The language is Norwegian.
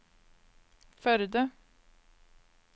Førde